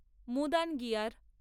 মুদানগিয়ার